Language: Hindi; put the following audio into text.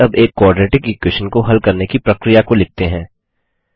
चलिए अब एक क्वाड्रेटिक इक्वेशन को हल करने की प्रक्रिया को लिखते हैं